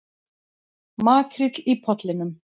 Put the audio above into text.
Makríll í Pollinum